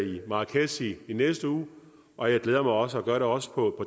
i marrakech i næste uge og jeg glæder mig også og gør det også på